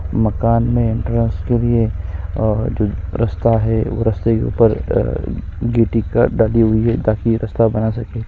मकान में एंट्रेंस के लिए और जो रस्ता है रस्ते के ऊपर गीटिका डली हुई है ताकि रस्ता बना सके --